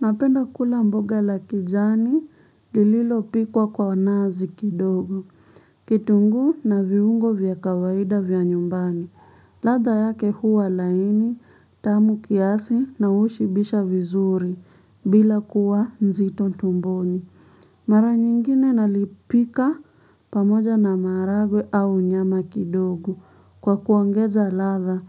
Napenda kula mboga la kijani, lililo pikwa kwa onazi kidogo. Kitunguu na viungo vya kawaida vya nyumbani. Ladha yake huwa laini, tamu kiasi na hushibisha vizuri, bila kuwa nzito ntumboni. Mara nyingine nalipika pamoja na maharagwe au nyama kidogo. Kwa kuongeza ladha.